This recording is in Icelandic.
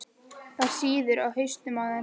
Það sýður á hausnum á þér!